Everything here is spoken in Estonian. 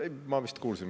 Ei, ma vist kuulsin …